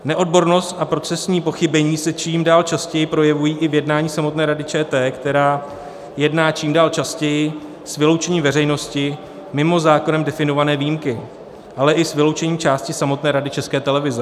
Neodbornost a procesní pochybení se čím dál častěji projevují i v jednání samotné Rady ČT, která jedná čím dál častěji s vyloučením veřejnosti, mimo zákonem definované výjimky, ale i s vyloučením části samotné Rady České televize.